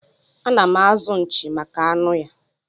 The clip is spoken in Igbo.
Anam azụ nchi maka anụ ya.